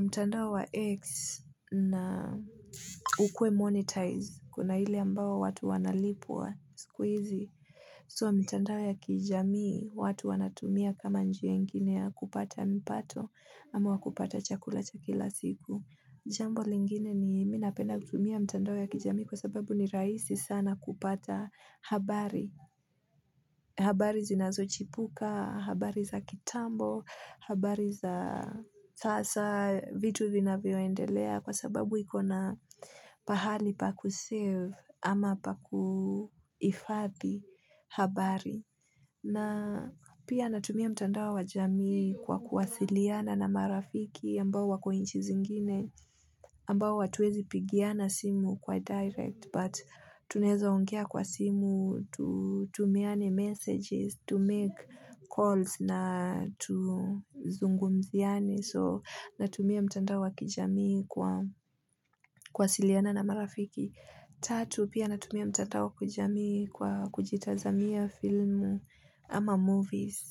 mtandao wa X na ukuwe monetize. Kuna hili ambao watu wanalipwa siku izi. So mitandao ya kijami watu wanatumia kama njia ingine ya kupata mpato ama wa kupata chakula cha kila siku. Jambo lingine ni mi napenda kutumia mtandao ya kijami kwa sababu ni raisi sana kupata habari. Habari zinazochipuka, habari za kitambo, habari za sasa vitu vinavyoendelea kwa sababu iko na pahali pa kusave. Ama pa kuhifadhi habari na pia natumia mtandao wa jamii kwa kuwasiliana na marafiki ambao wako inchi zingine ambao hatuwezi pigiana simu kwa direct But tunaeza ongea kwa simu Tumiane messages to make calls na tuzungumziane So natumia mtandao wa kijamii kwa kuwasiliana na marafiki Tatu pia natumia mtandao ya kujami kwa kujitazamia filmu ama movies